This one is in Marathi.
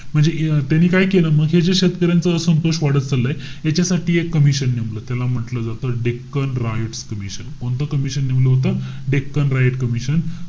म्हणजे ए~ त्यांनी काय केलं म हे जे शेतकऱ्यांचा असंतोष वाढत चाललंय. याच्यासाठी एक commission नेमलं. त्याला म्हंटल जातं डेक्कन रायट्स कमिशन. कोणतं commission नेमलं होतं? Deccan riots commission,